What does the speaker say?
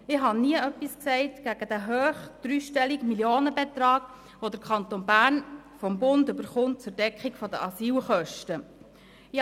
Ich habe nie etwas gegen den hohen, dreistelligen Millionenbetrag gesagt, den der Kanton Bern vom Bund zur Deckung der Asylkosten erhält.